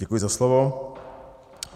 Děkuji za slovo.